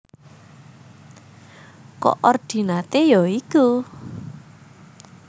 Koordinaté ya iku